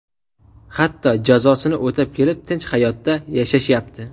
Hatto jazosini o‘tab kelib, tinch hayotda yashashyapti.